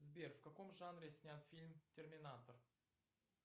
сбер в каком жанре снят фильм терминатор